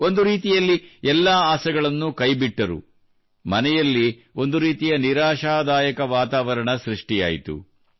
ಒಂದು ರೀತಿಯಲ್ಲಿ ಎಲ್ಲಾ ಆಸೆಗಳನ್ನೂ ಕೈಬಿಟ್ಟರು ಮನೆಯಲ್ಲಿ ಒಂದು ರೀತಿಯ ನಿರಾಶಾದಾಯಕ ವಾತಾವರಣ ಸೃಷ್ಟಿಯಾಯಿತು